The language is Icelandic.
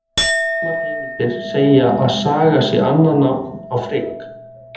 Sumar heimildir segja að Sága sé annað nafn á Frigg.